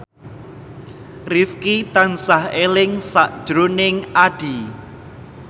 Rifqi tansah eling sakjroning Addie